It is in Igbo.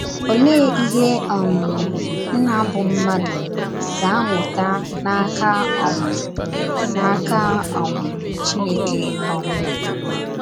Olee ihe um nna bụ́ mmadụ ga - amụta n’aka um n’aka um Chineke um?